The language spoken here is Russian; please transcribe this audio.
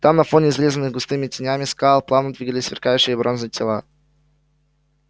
там на фоне изрезанных густыми тенями скал плавно двигались сверкающие бронзой тела